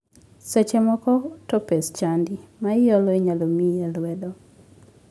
Seche moko to pes chadi ma iholo inyalo miyi e lwedo.